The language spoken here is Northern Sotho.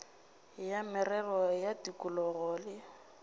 ya merero ya tikologo le